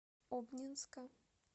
обнинска